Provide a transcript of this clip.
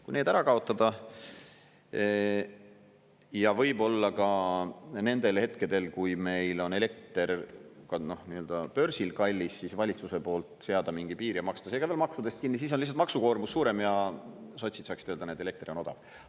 Kui need ära kaotada, ja võib-olla ka nendel hetkedel, kui meil on elekter börsil kallis, siis valitsuse poolt seada mingi piir ja maksta see ka veel maksudest kinni, siis on lihtsalt maksukoormus suurem ja sotsid saaksid öelda: näed, elekter on odav.